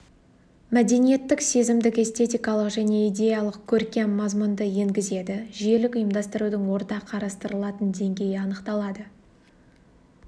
мәдиниеттік сезімдік-эстетикалық және идеялық-көркем мазмұнды енгізеді жүйелік ұйымдастырудың орта қарастырылатын деңгейі анықталады